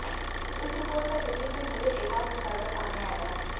इस रिपोर्ट में दिल्ली में हुए एक और घोटाला सामने आया है